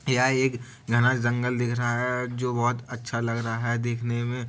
यह एक घना जंगल दिख रहा है। जो बहुत अच्छा लग रहा है देखने में --